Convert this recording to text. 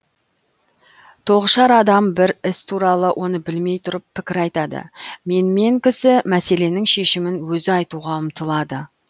тоғышар адам бір іс туралы оны білмей тұрып пікір айтады менмен кісі мәселенің шешімін өзі айтуға ұмтылады